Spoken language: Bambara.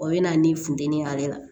O bɛ na ni funteni y'ale la